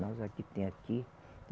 Nós a que tem aqui.